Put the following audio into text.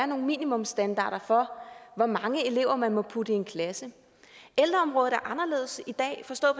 nogle minimumsstandarder for hvor mange elever man må putte i en klasse ældreområdet er anderledes i dag forstået